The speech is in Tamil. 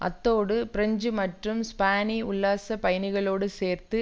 அத்தோடு பிரெஞ்சு மற்றும் ஸ்பானிய உல்லாச பயணிகளோடு சேர்த்து